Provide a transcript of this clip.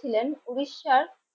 ছিলেন উড়িষ্যার